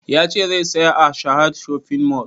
Ya ce zai saya a sahad shopping mall